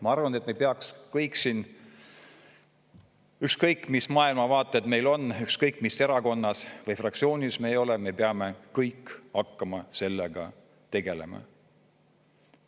Ma arvan, et me peaks kõik siin, ükskõik mis maailmavaated meil on, ükskõik mis erakonnas või fraktsioonis me ei ole, me peame kõik hakkama sellega tegelema.